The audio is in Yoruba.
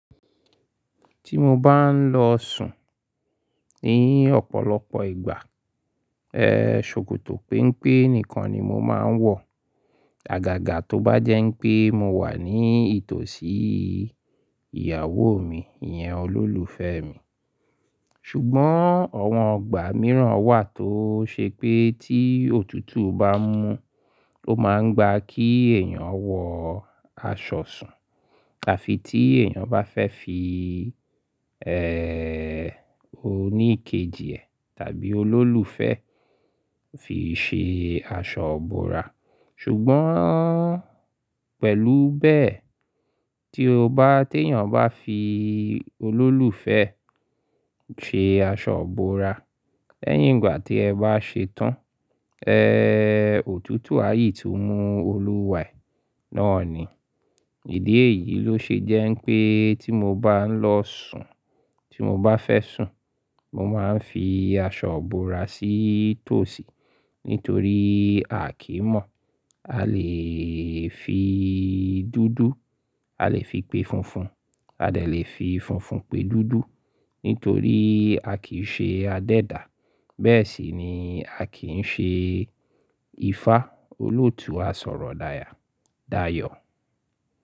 Tí mo bá ń lọ sùn ní ọ̀pọ̀lọpọ̀ ìgbà, ẹ̀h, ṣòkòtò pẹ́npẹ́ nìkan ni mo máa ń wọ̀. Àgàgà tó bá jẹ́ pé mo wà ní ìtòsí ìyàwó mi, ìyẹn olólùfẹ́ mi. Ṣùgbọ́n àwọn ọgbà mìíràn wà tó ṣe pé tí òtútù bá mú, ó máa ń gba kí èèyàn wọ aṣọ sùn àfi tí èèyàn bá fẹ́ fi, ẹ́ẹ́, oníkejì ẹ̀ tàbí olólùfẹ́ fi ṣe aṣọ ìbora. Ṣùgbọ́n pẹ̀lú bẹ́ẹ̀, tí o bá, tí èèyàn bá fi olólùfẹ́ ṣe aṣọ ìbora, lẹ́yìn ìgbà tí ẹ bá ṣetán, ẹ́ẹ́, òtútù à yii tu mú olúwaẹ̀ náà ni. Ìdí èyí ló ṣe jẹ́ pé tí mo bá ń lọ sùn, tí mo bá fẹ́ sùn, mo máa ń fi aṣọ ìbora sí tòsí nítorí a kì í mọ̀. A lè fi dúdú, a lè fi pe funfun, a lè fi funfun pe dúdú nítorí a kì í ṣe adẹ́dà. Bẹ́ẹ̀ sì ni a kì í ṣe ifá. Olóòtú á sọ̀rọ̀ dáya, dayọ̀.